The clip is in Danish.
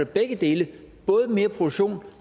begge dele både mere produktion